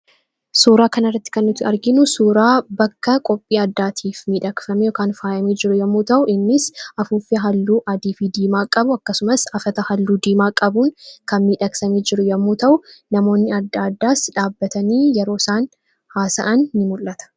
suuraa kanaarratti kennuti arginu suuraa bakka qophii addaatiif miidhakfamekan faayamii jiru yommuu ta'u innis afuuffia halluu adv diimaa qabu akkasumas afata halluu diimaa qabuun kan miidhaksamii jiru yommuu ta'u namoonni adda addaas dhaabbatanii yeroo isaan haasa’an in mul'ata